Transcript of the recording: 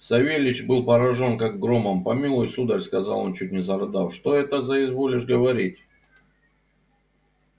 савельич был поражён как громом помилуй сударь сказал он чуть не зарыдав что это за изволишь говорить